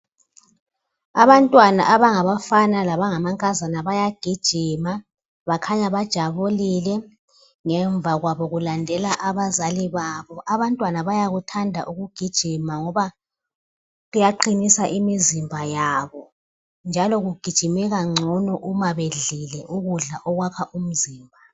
Abantwana abangabafana labangamankazana bayagijima bakhanya bajabulile ngemva kwabo kulandela abazali babo. Abantwana bayakuthanda ukugijima ngoba kuyaqinisa imizimba yabo njalo kugijimeka ngcono uma bedlile ukudla okwakha umzimba.